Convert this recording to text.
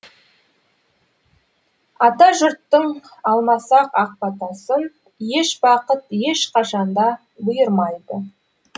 атажұрттың алмасақ ақ батасын еш бақыт ешқашан да бұйырмайды